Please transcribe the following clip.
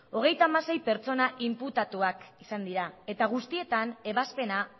hogeita hamasei pertsona inputatuak izan dira eta guztietan ebazpena